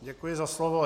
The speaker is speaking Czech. Děkuji za slovo.